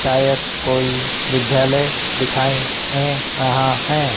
शायद कोई विद्यालय दिखाई दे रहा है।